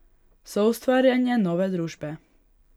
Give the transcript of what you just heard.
Soustvarjanje nove družbe.